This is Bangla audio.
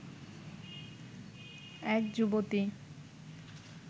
এক যুবতী